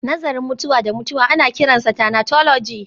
Nazarin mutuwa da mutuwa ana kiransa thanatology